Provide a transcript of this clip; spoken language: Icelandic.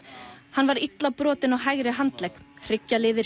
hann var illa brotinn á hægri handlegg